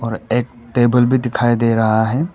और एक टेबल भी दिखाई दे रहा है।